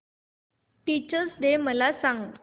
teachers day मला सांग